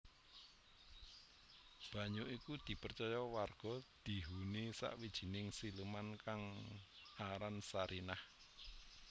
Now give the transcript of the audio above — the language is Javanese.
Banyu iku dipercaya warga dihuni sawijining siluman kang aran Sarinah